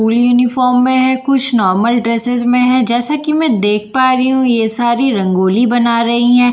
School uniform में है कुछ नाॅर्मल ड्रेसेस में है जैसा कि मैं देख पा रही हूँ ये सारी रंगोली बना रही हैं।